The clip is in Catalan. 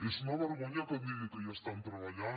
és una vergonya que em digui que hi estan treballant